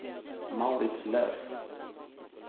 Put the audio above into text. Mauritz Löf